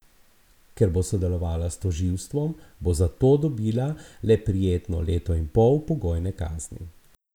Ker bo sodelovala s tožilstvom, bo za to dobila le prijetno leto in pol pogojne kazni.